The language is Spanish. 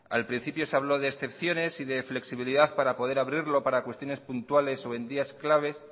al principio se habló de excepciones y de flexibilidad para poder abrirlo para cuestiones puntuales o en días claves